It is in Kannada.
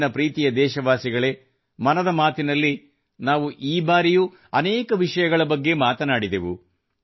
ನನ್ನ ಪ್ರೀತಿಯ ದೇಶವಾಸಿಗಳೇ ಮನದ ಮಾತಿನಲ್ಲಿ ನಾವು ಈ ಬಾರಿಯೂ ಅನೇಕ ವಿಷಯಗಳ ಬಗ್ಗೆ ಮಾತನಾಡಿದೆವು